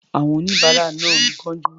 Àwọn oníbàárà náà ń kánjú.